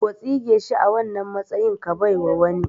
Ko tsige shi a wannan matsayin ka baiwa wani